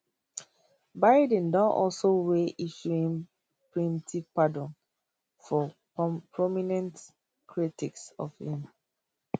biden don also weigh issuing preemptive pardons for prominent critics of im